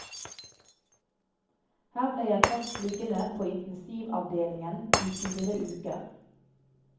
Her ble jeg først liggende på intensivavdelingen i fire uker.